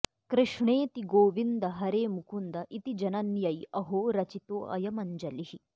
कृष्णेति गोविन्द हरे मुकुन्द इति जनन्यै अहो रचितोऽयमञ्जलिः